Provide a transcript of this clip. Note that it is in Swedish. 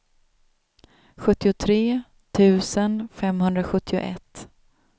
sjuttiotre tusen femhundrasjuttioett